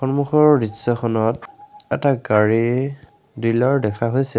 সন্মুখৰ দৃশ্যখনত এটা গাড়ী ডিলাৰ দেখা হৈছে।